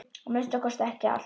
Að minnsta kosti ekki allt.